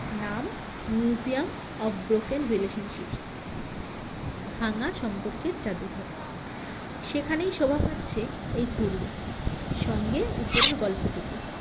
নাম Museum of broken relationships ভাঙা সম্পর্কের জাদুঘর সেখানেই শোভা পাচ্ছে এই কুরুল সঙ্গে উপরের গল্পটুকু